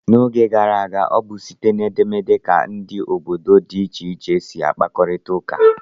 N'oge gara aga, ọ bụ site na edemede ka ndị bi obodo dị iche iche si akparita ụka.